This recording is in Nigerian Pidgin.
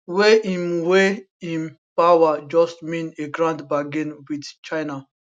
wey im wey im power just mean a grand bargain wit china